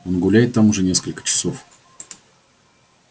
он гуляет там уже несколько часов